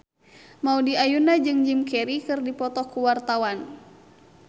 Maudy Ayunda jeung Jim Carey keur dipoto ku wartawan